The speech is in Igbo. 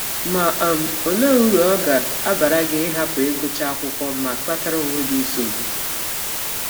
Ma, um ọlee ụrụ ọ ga - abara gị ịhapụ ịgụcha akwụkwọ ma kpatara ọnwe gị nsọgbụ?